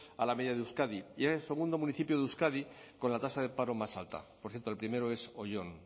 a la media de euskadi y es el segundo municipio de euskadi con la tasa de paro más alta por cierto el primero es oyón